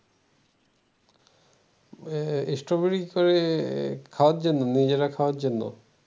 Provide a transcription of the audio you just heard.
আহ strawberry করে খাওয়ার জন্য নিজেরা খাওয়ার জন্য